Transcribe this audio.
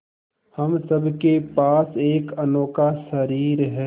हम सब के पास एक अनोखा शरीर है